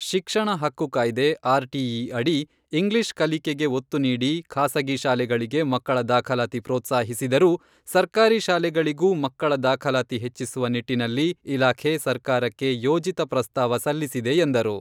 ಶಿಕ್ಷಣ ಹಕ್ಕು ಕಾಯ್ದೆ, ಆರ್ಟಿಇ ಅಡಿ ಇಂಗ್ಲಿಷ್ ಕಲಿಕೆಗೆ ಒತ್ತು ನೀಡಿ, ಖಾಸಗಿ ಶಾಲೆಗಳಿಗೆ ಮಕ್ಕಳ ದಾಖಲಾತಿ ಪ್ರೋತ್ಸಾಹಿಸಿದರೂ, ಸರ್ಕಾರಿ ಶಾಲೆಗಳಿಗೂ ಮಕ್ಕಳ ದಾಖಲಾತಿ ಹೆಚ್ಚಿಸುವ ನಿಟ್ಟಿನಲ್ಲಿ ಇಲಾಖೆ ಸರ್ಕಾರಕ್ಕೆ ಯೋಜಿತ ಪ್ರಸ್ತಾವ ಸಲ್ಲಿಸಿದೆ ಎಂದರು.